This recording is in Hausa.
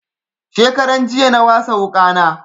Shekaran jiya na wasa wuƙa na